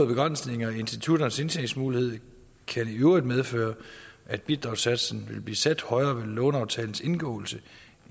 begrænsninger i institutternes indtjeningsmuligheder kan i øvrigt medføre at bidragssatsen vil blive sat højere ved låneaftalens indgåelse